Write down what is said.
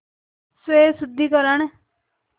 स्वशुद्धिकरण